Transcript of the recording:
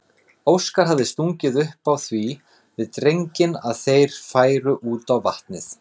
Óskar hafði stungið upp á því við drenginn að þeir færu út á vatn.